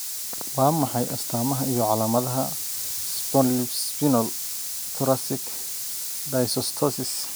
Waa maxay astamaha iyo calaamadaha Spondylospinal thoracic dysostosis?